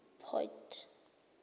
port